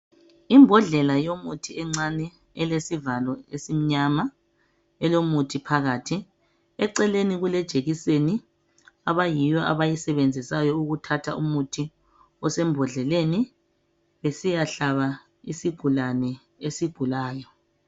Imbodlela yomuthi encane ilesivalo esimnyama elomuthi phakathi. Eceleni kule jekiseni abayiyo abayisebenzisayo ukuthatha umuthi osembodleleni besiyahlaba isigulane esigulayo.